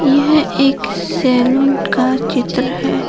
यह एक सैलून का चित्र है।